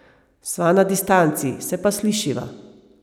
Sva na distanci, se pa slišiva.